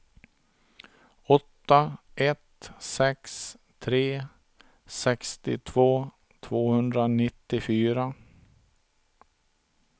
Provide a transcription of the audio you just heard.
åtta ett sex tre sextiotvå tvåhundranittiofyra